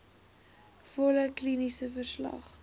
volle kliniese verslag